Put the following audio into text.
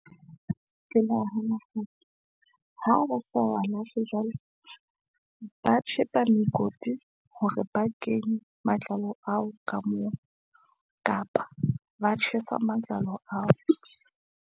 Ke nahana ha hore ha ba sa wa lahle jwalo , ba tjhepe mekoti hore ba kenye matlalo ao ka moo kapa ba tjhesa matlalo ao.